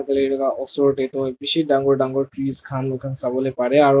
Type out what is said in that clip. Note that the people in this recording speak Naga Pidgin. lay laga osor teh toh beshi tangore tangore trees kan sabo bari aro.